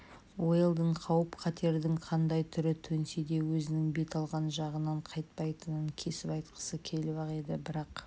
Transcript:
уэлдон қауіп-қатердің қандай түрі төнсе де өзінің бет алған жағынан қайтпайтынын кесіп айтқысы келіп ақ еді бірақ